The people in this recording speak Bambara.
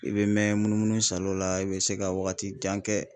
I bɛ mɛn munumunu salo la, i bi se ka wagati jan kɛ